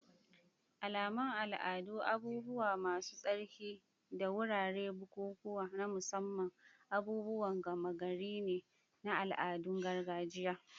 Alamun al'adu, abubuwa masu tsarki, da wuraren bukukuwa na musamman, abubuwan gama gari ne na al'adun gargajiya.